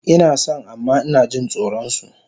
Inason amma inajin tsoron su